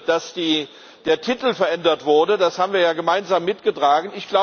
Dass der Titel verändert wurde, das haben wir ja gemeinsam mitgetragen.